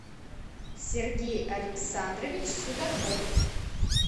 сергей александрович судаков